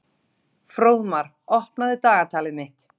Fróðmar, opnaðu dagatalið mitt.